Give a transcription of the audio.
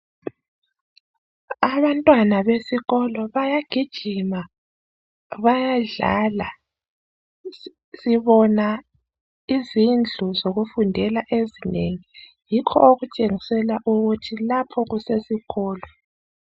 Abantwana besikolo bayagijima bayadlala sibona izindlu zokufundela ezinengi yikho okutshengisela ukuthi lapho kusesikolo